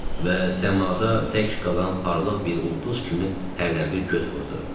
Və səmada tək qalan parlaq bir ulduz kimi hərdən bir göz vurdu.